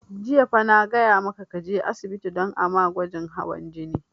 Jiya fa na gaya maka ka je asibiti don a ma gwajin hawan jini!